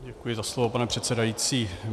Děkuji za slovo, pane předsedající.